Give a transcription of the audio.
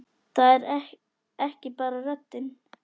Það er ekki bara röddin.